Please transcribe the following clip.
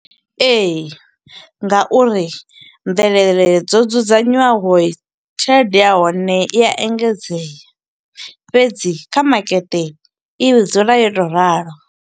Ee, nga uri mvelele dzo dzudzanywaho, tshelede ya hone i a engedzea. Fhedzi kha makete i dzula yo to ralo.